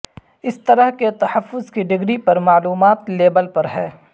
اس طرح کے تحفظ کی ڈگری پر معلومات لیبل پر ہے